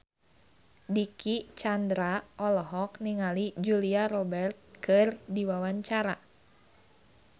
Dicky Chandra olohok ningali Julia Robert keur diwawancara